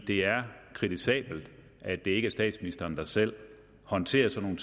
det er kritisabelt at det ikke er statsministeren der selv håndterer sådan